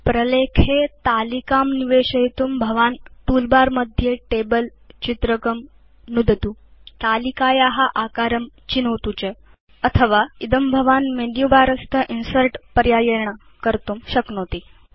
प्रलेखे तालिकां निवेशयितुं भवान् तूल बर मध्ये टेबल चित्रकं नुदतुतालिकाया आकारं चिनोतु च अथवा इदं भवान् मेनुबर स्थ इन्सर्ट् पर्यायेण कर्तुं शक्नोति